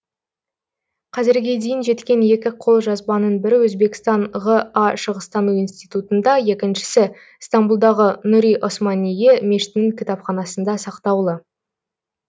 қазірге дейін жеткен екі қолжазбаның бірі өзбекстан ға шығыстану институтында екіншісі стамбұлдағы нұри османийе мешітінің кітапханасында сақтаулы